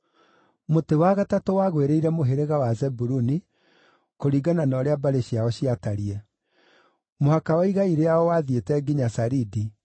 Mũtĩ wa gatatũ wagũĩrĩire mũhĩrĩga wa Zebuluni, kũringana na ũrĩa mbarĩ ciao ciatariĩ: Mũhaka wa igai rĩao wathiĩte nginya Saridi.